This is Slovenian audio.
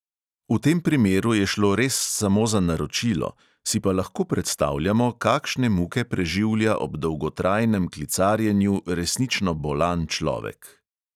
V tem primeru je šlo res samo za naročilo, si pa lahko predstavljamo, kakšne muke preživlja ob dolgotrajnem klicarjenju resnično bolan človek.